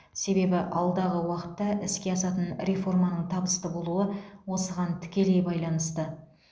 себебі алдағы уақытта іске асатын реформаның табысты болуы осыған тікелей байланысты